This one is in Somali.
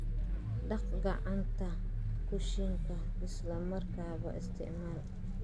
Dhaq maacuunta kushiinka isla markaaba isticmaal.